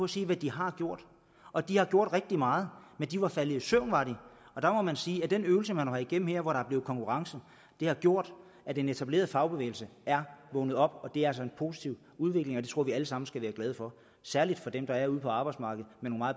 sige hvad de har gjort og de har gjort rigtig meget men de var faldet i søvn var de og der må man sige at den øvelse man har været igennem her hvor der er blevet konkurrence har gjort at den etablerede fagbevægelse er vågnet op det er altså en positiv udvikling og det tror vi alle sammen skal være glade for særlig for dem der er ude på arbejdsmarkedet